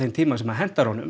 tíma sem hentar honum